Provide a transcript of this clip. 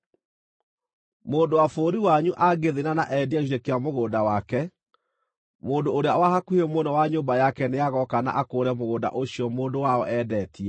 “ ‘Mũndũ wa bũrũri wanyu angĩthĩĩna na endie gĩcunjĩ kĩa mũgũnda wake, mũndũ ũrĩa wa hakuhĩ mũno wa nyũmba yake nĩagooka na akũũre mũgũnda ũcio mũndũ wao eendetie.